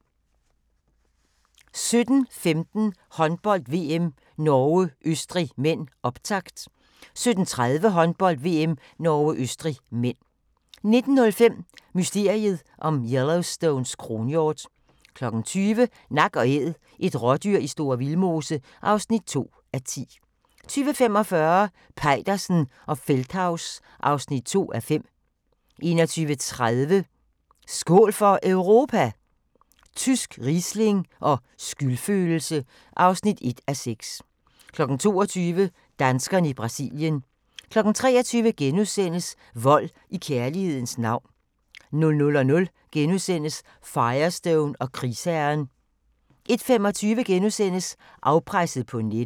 17:15: Håndbold: VM - Norge-Østrig (m), optakt 17:30: Håndbold: VM - Norge-Østrig (m) 19:05: Mysteriet om Yellowstones kronhjort 20:00: Nak & Æd – et rådyr i Store Vildmose (2:10) 20:45: Peitersen og Feldthaus (2:5) 21:30: Skål for Europa? Tysk riesling og skyldfølelse (1:6) 22:00: Danskerne i Brasilien 23:00: Vold i kærlighedens navn * 00:00: Firestone og krigsherren * 01:25: Afpresset på nettet *